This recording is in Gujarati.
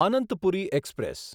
અનંતપુરી એક્સપ્રેસ